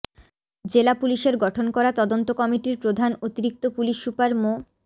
জেলা পুলিশের গঠন করা তদন্ত কমিটির প্রধান অতিরিক্ত পুলিশ সুপার মো